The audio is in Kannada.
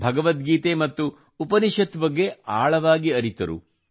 ಭಗವದ್ಗೀತೆ ಮತ್ತು ಉಪನಿಷತ್ ಬಗ್ಗೆ ಆಳವಾಗಿ ಅರಿತರು